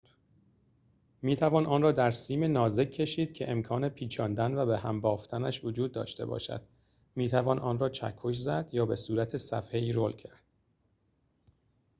می‌توان آن را در سیم نازک کشید که امکان پیچاندن و به‌هم بافتنش وجود داشته باشد می‌توان آن را چکش زد یا بصورت صفحه‌ای رول کرد